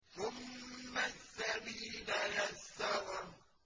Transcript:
ثُمَّ السَّبِيلَ يَسَّرَهُ